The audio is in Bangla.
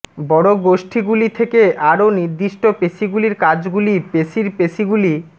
বড় গোষ্ঠীগুলি থেকে আরও নির্দিষ্ট পেশীগুলির কাজগুলি পেশীর পেশীগুলি